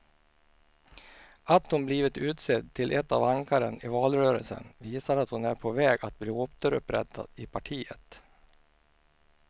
Att hon blivit utsedd till ett av ankaren i valrörelsen visar att hon är på väg att bli återupprättad i partiet.